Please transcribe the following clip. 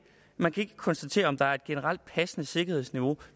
konstatere om der er et generelt passende sikkerhedsniveau